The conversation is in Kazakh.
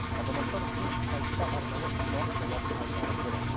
азаматтар үшін сайтта арнайы сұрақ жауап айдары болады